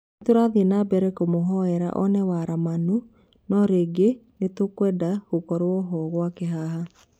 " Nĩ tũrathiĩ nambere kũmũhoera one waramanu no rĩngĩ nĩtwendaga gũkorwo hoo gwake haha.